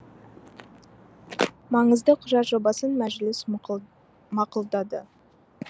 маңызды құжат жобасын мәжіліс мақұлдады